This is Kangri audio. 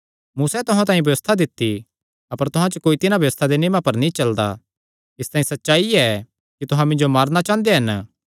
मूसैं तुहां तांई व्यबस्था दित्ती अपर तुहां च कोई तिन्हां व्यबस्था दे नियमां पर नीं चलदा इसतांई सच्चाई ऐ कि तुहां मिन्जो मारणा चांह़दे हन